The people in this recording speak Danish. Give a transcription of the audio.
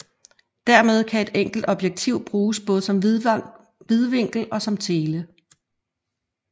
Dermed kan et enkelt objektiv bruges både som vidvinkel og som tele